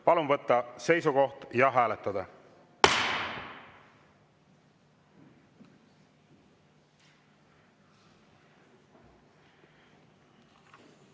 Palun võtta seisukoht ja hääletada!